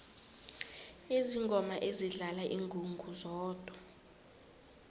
izangoma zidlala ingungu zodwa